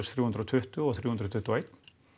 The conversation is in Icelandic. þrjú hundruð og tuttugu og þrjú hundruð tuttugu og eitt